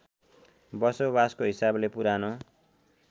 बसोवासको हिसाबले पुरानो